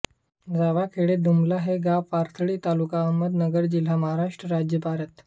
जावाखेडे दुमला हे गाव पाथर्डी तालुका अहमदनगर जिल्हा महाराष्ट्र राज्य भारत